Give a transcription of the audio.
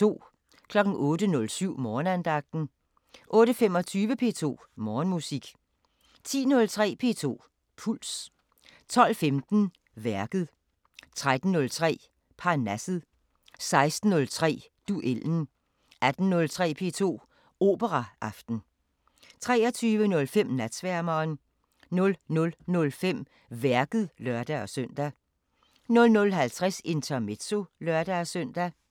08:07: Morgenandagten 08:25: P2 Morgenmusik 10:03: P2 Puls 12:15: Værket 13:03: Parnasset 16:03: Duellen 18:03: P2 Operaaften 23:05: Natsværmeren 00:05: Værket (lør-søn) 00:50: Intermezzo (lør-søn)